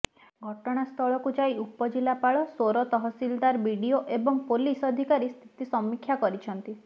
ଘଟଣାସ୍ଥଳକୁ ଯାଇ ଉପଜିଲ୍ଲାପାଳ ସୋର ତହସିଲଦାର ବିଡିଓ ଏବଂ ପୋଲିସ ଅଧିକାରୀ ସ୍ଥିତି ସମୀକ୍ଷା କରିଛନ୍ତି